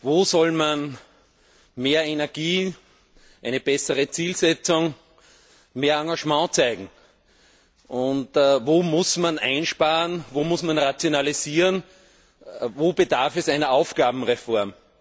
Wo soll man mehr Energie, eine bessere Zielsetzung, mehr Engagement zeigen? Wo muss man einsparen, wo muss man rationalisieren, wo bedarf es einer Aufgabenreform?